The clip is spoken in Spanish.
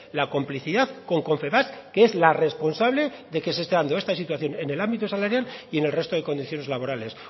la complicidad con confebask que es la responsable de que se esté dando esta situación en el ámbito salarial y en el resto de condiciones laborales